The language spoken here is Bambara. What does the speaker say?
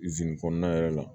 kɔnɔna yɛrɛ la